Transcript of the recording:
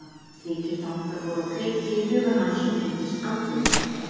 Slíkir þankar voru á kreiki í huga hans og tengdust andliti.